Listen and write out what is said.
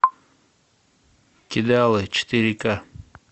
кидалы четыре ка